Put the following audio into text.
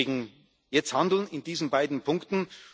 Deswegen Jetzt handeln, in diesen beiden Punkten!